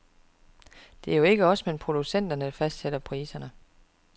Det er jo ikke os men producenterne, der fastsætter priserne.